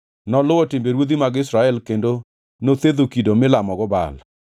Noluwo timbe ruodhi mag Israel kendo nothedho kido milamogo Baal.